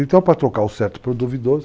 Então, para trocar o certo para o duvidoso...